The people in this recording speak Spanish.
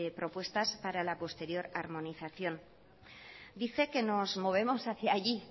propuestas para la posterior armonización dice que nos movemos hacia allí